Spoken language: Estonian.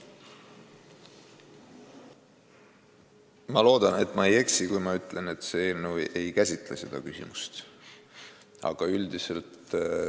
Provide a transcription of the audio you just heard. Ma loodan, et ma ei eksi, kui ma ütlen, et see eelnõu seda küsimust ei käsitle.